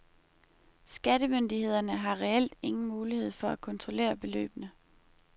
Skattemyndighederne har reelt ingen mulighed for at kontrollere beløbene.